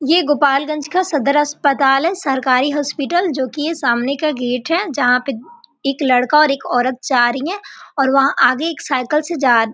ये गोपालगंज का सदर अस्पताल है सरकारी हॉस्पीटल जो कि ये सामने का गेट है जहाँ पे एक लड़का और एक औरत जा रही है और वहाँ आगे एक साइकिल से जा --